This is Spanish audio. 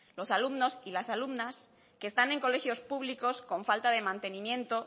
los alumnos y las alumnas que están en colegios públicos con falta de mantenimiento